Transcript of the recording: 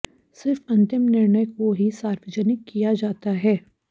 सिर्फ अंतिम निर्णय को ही सार्वजनिक किया जाता है